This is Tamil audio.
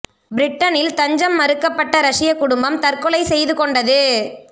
பிரிட்டனில் தஞ்சம் மறுக்கப்பட்ட ரஷ்ய குடும்பம் தற்கொலை செய்து கொண்டது